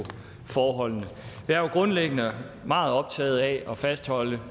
forholdene jeg er grundlæggende meget optaget af at fastholde